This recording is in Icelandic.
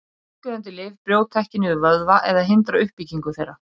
Bólgueyðandi lyf brjóta ekki niður vöðva eða hindra uppbyggingu þeirra.